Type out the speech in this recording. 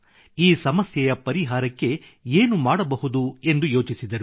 ಈ ಸಮಸ್ಯೆಯ ಪರಿಹಾರಕ್ಕೆ ಏನು ಮಾಡಬಹುದು ಎಂದು ಯೋಚಿಸಿದರು